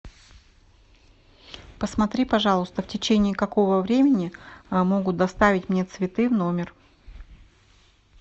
посмотри пожалуйста в течении какого времени могут доставить мне цветы в номер